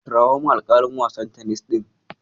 Kirawo min alƙalin wasan tenis ɗin.